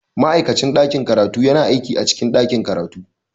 Ma'aikacin ɗakin karatu yana aiki a cikin ɗakin karatu